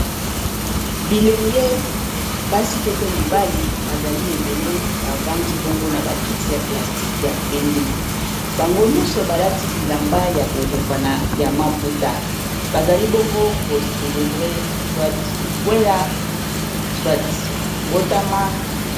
bilenge basi to pe mibali bazali ebele bavandi bongo na bakiti ya plastique ya pembe bango nyonso balati bilamba ya kokukana ya maputa bazali bongo kocelebre t likwela swt botama